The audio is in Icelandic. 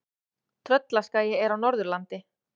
Tröllaskagi er á Norðurlandi.